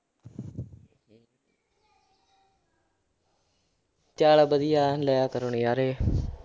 ਚੱਲ ਵਧੀਆ ਲਿਆ ਕਰੋ ਨਜ਼ਾਰੇ